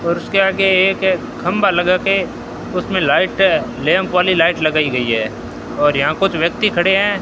और उसके आगे एक खंभा लगाके उसमें लाइट लैंप वाली लाइट लगाई गई है और यहां कुछ व्यक्ति खड़े हैं।